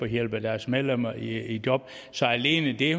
hjælpe deres medlemmer i job så alene det